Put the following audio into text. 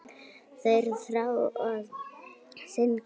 Þeir þrá að syndga.